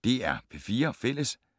DR P4 Fælles